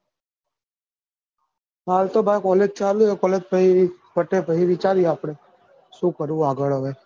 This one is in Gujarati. હાલ તો ભાઈ college ચાલુ છે college પહી પત્યા પહી વિચાર્યે આપડે શું કરવું આગળ હવે?